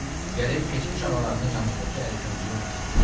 Gərək keçmiş ağalarının yanındakı ərkəyini unutsun.